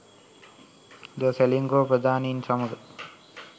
ද සෙලින්කෝ ප්‍රධානින් සමග